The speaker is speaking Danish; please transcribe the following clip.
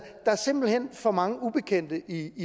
er simpelt hen for mange ubekendte i det